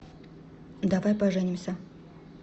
давай поженимся